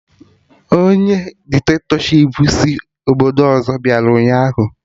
Ọnye dikitatọshipụ si obodo ọzọ bịara ụnyaahụ